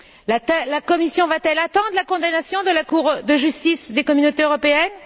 La Commission va t elle attendre la condamnation de la Cour de justice des Communautés européennes?